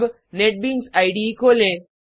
अब NetBeans IDE खोलें